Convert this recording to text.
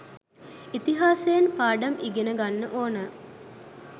ඉතිහාසයෙන් පාඩම් ඉගෙන ගන්න ඕනෑ.